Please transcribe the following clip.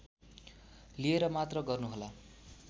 लिएर मात्र गर्नुहोला